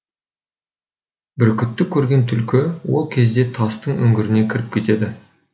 бүркітті көрген түлкі ол кезде тастың үңгіріне кіріп кетеді